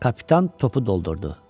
Kapitan topu doldurdu.